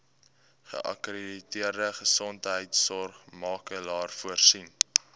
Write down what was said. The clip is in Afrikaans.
geakkrediteerde gesondheidsorgmakelaar voorsien